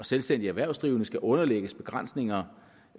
selvstændige erhvervsdrivende skal underlægges begrænsninger